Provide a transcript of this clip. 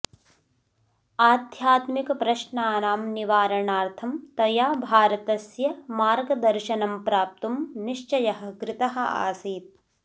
आध्यात्मिकप्रश्नानां निवारणार्थं तया भारतस्य मार्गदर्शनं प्राप्तुं निश्चयः कृतः आसीत्